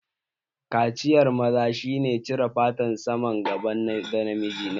Kaciyar maza shi ne cire fatar saman gaban ɗa namiji